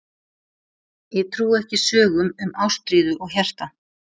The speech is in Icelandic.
Ég trúi ekki sögum um ástríðu og hjarta.